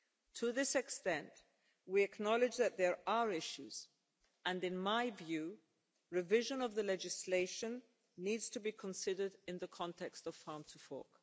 To this extent, we acknowledge that there are issues, and in my view, revision of the legislation needs to be considered in the context of farm to fork.